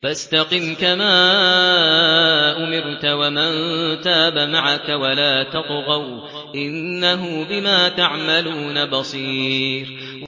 فَاسْتَقِمْ كَمَا أُمِرْتَ وَمَن تَابَ مَعَكَ وَلَا تَطْغَوْا ۚ إِنَّهُ بِمَا تَعْمَلُونَ بَصِيرٌ